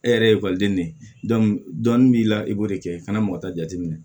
E yɛrɛ ye ekɔliden ne ye dɔnni b'i la i b'o de kɛ i kana mɔgɔ ta jateminɛ